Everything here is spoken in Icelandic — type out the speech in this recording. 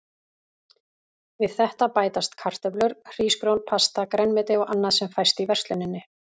Við þetta bætast kartöflur, hrísgrjón, pasta, grænmeti og annað sem fæst í versluninni.